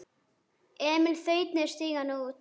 Emil þaut niður stigann og út.